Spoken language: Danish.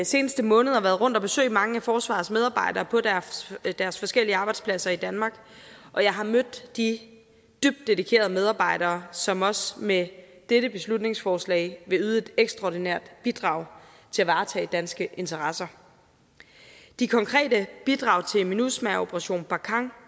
seneste måneder været rundt at besøge mange af forsvarets medarbejdere på deres forskellige arbejdspladser i danmark og jeg har mødt de dybt dedikerede medarbejdere som også med dette beslutningsforslag vil yde et ekstraordinært bidrag til at varetage danske interesser de konkrete bidrag til minusma og operation barkhane